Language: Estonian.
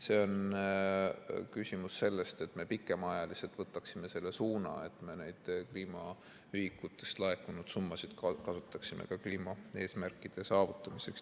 See küsimus puudutab seda, et me pikemaajaliselt võtaksime suuna, et me neid kliimaühikutest laekunud summasid kasutaksime kliimaeesmärkide saavutamiseks.